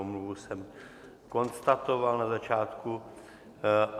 Omluvu jsem konstatoval na začátku.